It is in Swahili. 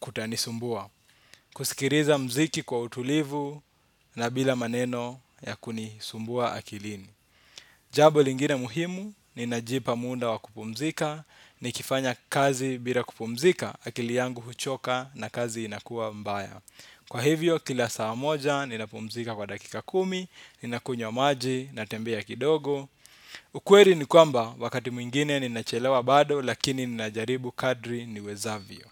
kutanisumbua. Kusikiliza muziki kwa utulivu na bila maneno ya kunisumbua akilini. Jambo lingine muhimu ninajipa muda wa kupumzika. Nikifanya kazi bila kupumzika akili yangu huchoka na kazi inakuwa mbaya kwa hivyo kila saa moja ninapumzika kwa dakika kumi ninakunywa maji natembea kidogo. Ukweli ni kwamba wakati mwingine ninachelewa bado lakini ninajaribu kadiri niwezavyo.